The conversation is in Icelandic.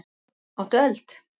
Áttu eld?